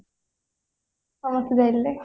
ସମସ୍ତେ ଯାଇଥିଲେ